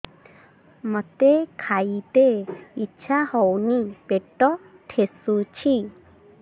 ମୋତେ ଖାଇତେ ଇଚ୍ଛା ହଉନି ପେଟ ଠେସୁଛି